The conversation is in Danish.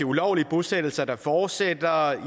ulovlige bosættelser der fortsætter og